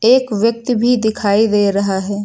एक व्यक्ति भी दिखाई दे रहा है।